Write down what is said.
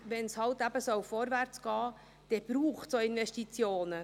Wenn es vorwärtsgehen soll, dann braucht es auch Investitionen.